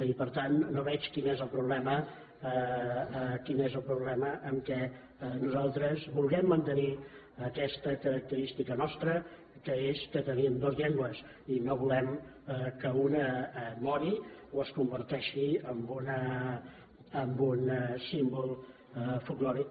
i per tant no veig quin és el problema en el fet que nosaltres vulguem mantenir aquesta característica nostra que és que tenim dues llengües i no volem que una mori o es converteixi en un símbol folklòric